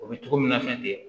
O bɛ togo min na fɛn tɛ yen